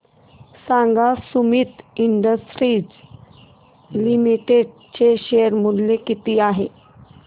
सांगा Sumeet industries limited चे share मूल्य किती आहे